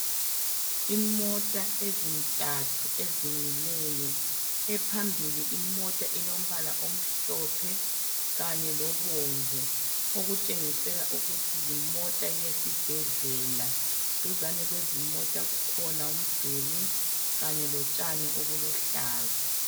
Imota ezintathu ezimileyo. Ephambili imota ilombala omhlophe kanye lobomvu okutshengisela ukuthi yimota yesibhedlela. Duzane kwezimota kukhona umduli kanye lotshani obuluhlaza.